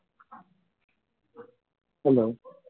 hello